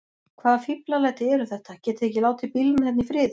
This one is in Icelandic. Hvaða fíflalæti eru þetta. getiði ekki látið bílana hérna í friði!